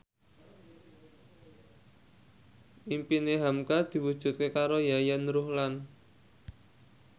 impine hamka diwujudke karo Yayan Ruhlan